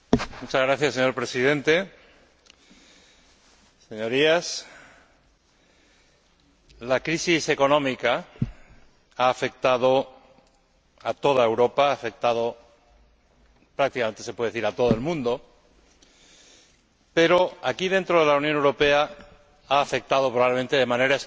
Señor Presidente, Señorías, la crisis económica ha afectado a toda Europa, ha afectado prácticamente, se puede decir, a todo el mundo, pero aquí, dentro de la Unión Europea, ha afectado probablemente de manera especial